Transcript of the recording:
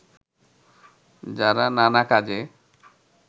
যারা নানা কাজে